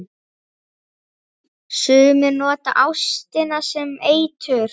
Sumir nota ástina sem eitur.